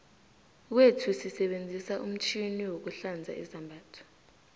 kwethuu sisebenzisa umtjhini wokuhlanza izambatho